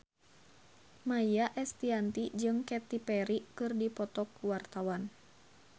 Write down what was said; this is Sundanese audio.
Maia Estianty jeung Katy Perry keur dipoto ku wartawan